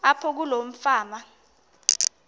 apho kuloo fama